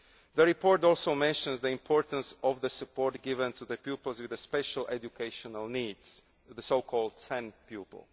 closely. The report also mentions the importance of the support given to pupils with special educational needs, the so called